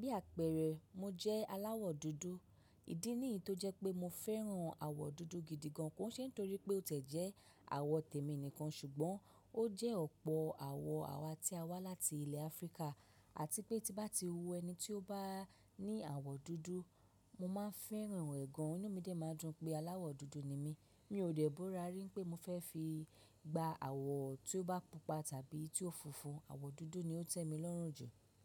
Bí àpẹẹrẹ, mo jẹ́ aláwọ̀ dúdú, ìdí nìyí tó jẹ́ pé mo fẹ́ràn àwọ̀ dúdú gidi gan, kò ṣe nítorí pé ó tẹ̀ jẹ́ àwọ̀ tèmi nìkan ṣùgbọ́n ó jẹ́ ọ̀pọ̀ àwọ̀ àwa tí a wá láti ilẹ̀ Áfíríkà àti pé tí bá ti wo ẹni tí ó bá ní awọ̀ dúdú, mo maa ń fẹ́ràn ẹ gan. Inú mi dè maa ń dùn pé aláwọ̀ dúdú ni mi. Mi ò dẹ̀ bórà rí pé mo fẹ́ fi gba àwọ̀ tí ó bá pupa tàbí tí ó funfun, àwọ̀ dúdú ni ó tẹ́mi lọ́rùn jù.